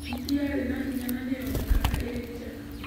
Hiti yarĩ na hinya na nĩ yonekaga ĩrĩ njega.